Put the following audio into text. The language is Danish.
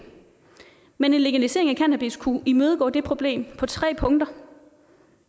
men en legalisering af cannabis kunne imødegå det problem på tre punkter